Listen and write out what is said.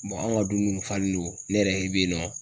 anw ka du nunnu kun falen do, ne yɛrɛ bɛ yen nɔ.